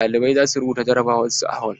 Ɗalibai za su rubuta jarabawar su a hol.